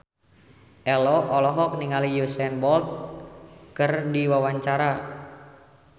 Ello olohok ningali Usain Bolt keur diwawancara